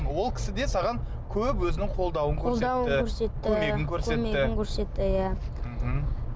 ол кісі де саған көп өзінің қолдауын көрсетті қолдауын көрсетті көмегін көрсетті иә мхм